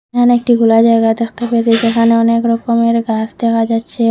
এখানে একটি খোলা জায়গা দেখতে পেয়েছি যেখানে অনেক রকমের গাছ দেখা যাচ্ছে।